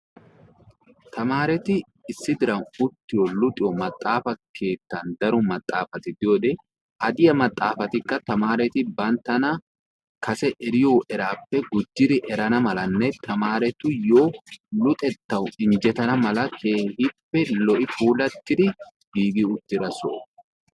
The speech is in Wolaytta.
Tamaareti isdi diran uttiyo luxiyo maxaafa keettan daro maxaafati diyode ha diya maxaafatikka tamaareti banttana kase eriyo eraappe gujjidi erana malanne tamaaretuyyo luxettawu injjetana mala keehippe lo"i ouulattidi giigi uttida soho.